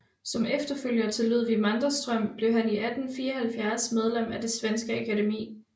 Som efterfølger til Ludvig Manderström blev han 1874 medlem af det svenske Akademi